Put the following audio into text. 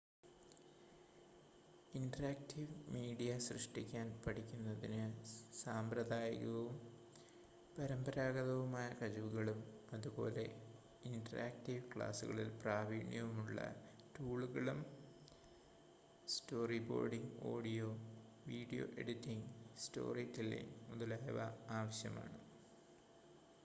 interactive media സൃഷ്‌ടിക്കാൻ പഠിക്കുന്നതിന് സാമ്പ്രദായികവും പരമ്പരാഗതവുമായ കഴിവുകളും അതുപോലെ ഇന്ററാക്റ്റീവ് ക്ലാസുകളിൽ പ്രാവീണ്യമുള്ള ടൂളുകളും storyboarding audio video editing story telling മുതലായവ ആവശ്യമാണ്